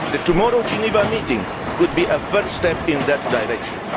Tomorrow's Geneva meeting could be a first step in that direction.